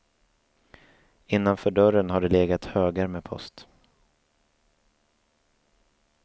Innanför dörren har det legat högar med post.